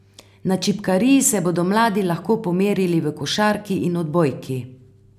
Na Čipkariji se bodo mladi lahko pomerili v košarki in odbojki.